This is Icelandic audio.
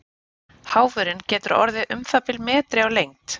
Háfurinn getur orðið um það bil metri á lengd.